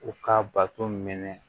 U ka bato minɛ